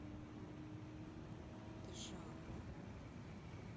джамму